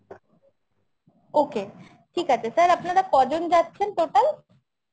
okay ঠিক আছে sir আপনারা কজন যাচ্ছেন total?